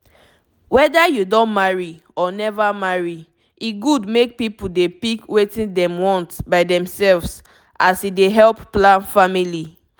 weda u don marry or neva marry e good make pipu dey pick wetin dem want by themselves as e dey help plan family